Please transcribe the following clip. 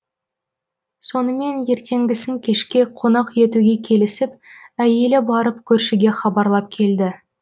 сонымен ертеңгісін кешке қонақ етуге келісіп әйелі барып көршіге хабарлап келді